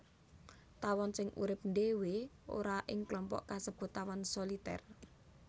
Tawon sing urip ndhéwé ora ing klompok kasebut tawon solitèr